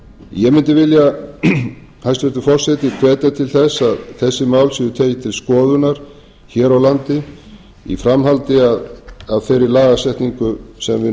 ég mundi vilja hæstvirtur forseti hvetja til þess að þessi mál séu tekin til skoðunar hér á landi í framhaldi af þeirri lagasetningu sem við